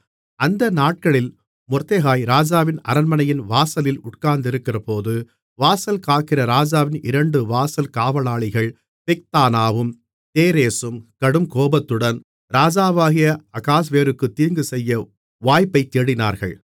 அந்த நாட்களில் மொர்தெகாய் ராஜாவின் அரண்மனை வாசலில் உட்கார்ந்திருக்கிறபோது வாசல்காக்கிற ராஜாவின் இரண்டு வாசல் காவலாளிகள் பிக்தானாவும் தேரேசும் கடுங்கோபத்துடன் ராஜாவாகிய அகாஸ்வேருக்கு தீங்குசெய்ய வாய்ப்பைத் தேடினார்கள்